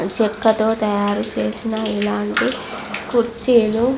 చెక్కతో తయారు చేసిన ఇలాంటి కుర్చీలు --